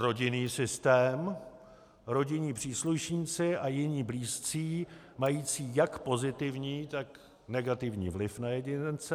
Rodinný systém - rodinní příslušníci a jiní blízcí mající jak pozitivní, tak negativní vliv na jedince.